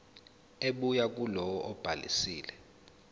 ebuya kulowo obhalisile